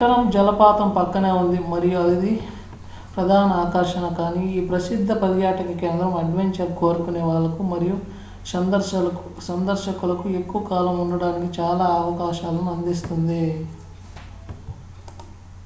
ఈ పట్టణం జలపాతం పక్కనే ఉంది మరియు అవి ప్రధాన ఆకర్షణ కానీ ఈ ప్రసిద్ధ పర్యాటక కేంద్రం అడ్వెంచర్ కోరుకునే వాళ్లకు మరియు సందర్శకులకు ఎక్కువ కాలం ఉండటానికి చాలా అవకాశాలను అందిస్తుంది